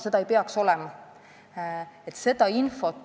Nii ei peaks olema.